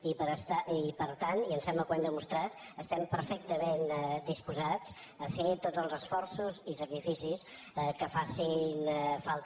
i per tant i em sembla que ho hem demostrat estem perfectament disposats a fer tots els esforços i sacrificis que facin falta